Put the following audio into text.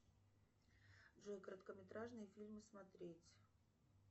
джой короткометражные фильмы смотреть